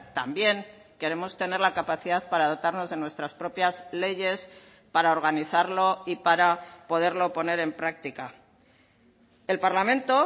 también queremos tener la capacidad para dotarnos de nuestras propias leyes para organizarlo y para poderlo poner en práctica el parlamento